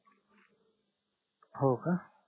हो का